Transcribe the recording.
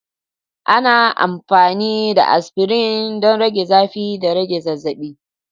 Ana amfani da aspirin don rage zafi da rage zazzabi.